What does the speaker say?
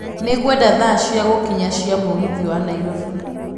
Nĩ ngwenda thaa cĩa gükinya cĩa mũgithi ya nairobi